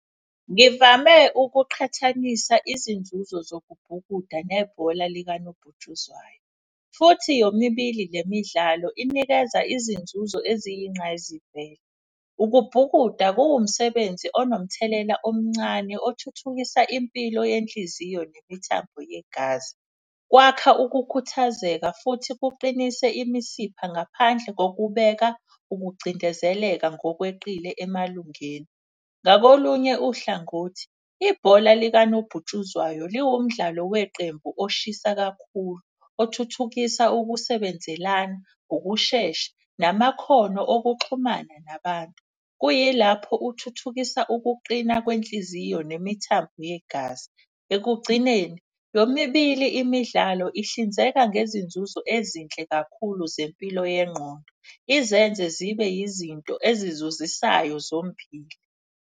Ngivame ukuqhathanisa izinzuzo zokubhukuda nebhola likanobhutshuzwayo futhi yomibili le midlalo inikeza izinzuzo eziyinqayizivele. Ukubhukuda kuwumsebenzi onomthelela omncane othuthukisa impilo yenhliziyo nemithambo yegazi. Kwakha ukukhathazeka futhi kuqinise imisipha ngaphandle kokubeka ukucindezeleka ngokweqile emalungeni. Ngakolunye uhlangothi ibhola likanobhutshuzwayo liwu mdlalo weqembu oshisa kakhulu. Othuthukisa ukusebenzelana, ukushesha, namakhono okuxhumana nabantu. Kuyilapho uthuthukisa ukuqina kwenhliziyo nemithambo yegazi. Ekugcineni yomibili imidlalo ihlinzeka ngezinzuzo ezinhle kakhulu zempilo yengqondo, izenze zibe yizinto ezizuzisayo zombili.